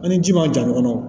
An ni ji ma ja ɲɔgɔn kɔrɔ